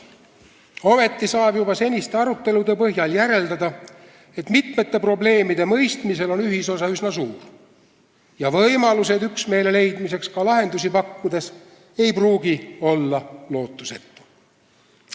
Ometi saab juba seniste arutelude põhjal järeldada, et mitmete probleemide mõistmisel on ühisosa üsna suur ja üksmeele leidmine, ka lahendusi pakkudes, ei pruugi olla lootusetu soov.